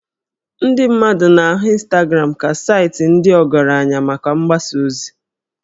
Ndị mmadụ na-ahụ Instagram ka saịtị ndị ọgaranya maka mgbasa ozi